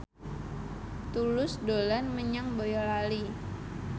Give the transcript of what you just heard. Tulus dolan menyang Boyolali